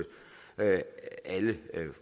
alle